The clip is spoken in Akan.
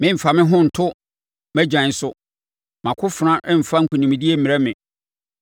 Meremfa me ho nto mʼagyan so mʼakofena remfa nkonimdie mmrɛ me;